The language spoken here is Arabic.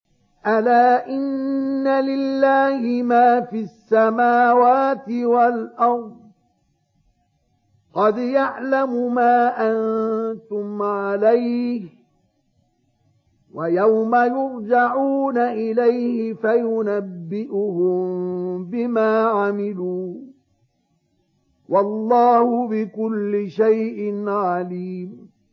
أَلَا إِنَّ لِلَّهِ مَا فِي السَّمَاوَاتِ وَالْأَرْضِ ۖ قَدْ يَعْلَمُ مَا أَنتُمْ عَلَيْهِ وَيَوْمَ يُرْجَعُونَ إِلَيْهِ فَيُنَبِّئُهُم بِمَا عَمِلُوا ۗ وَاللَّهُ بِكُلِّ شَيْءٍ عَلِيمٌ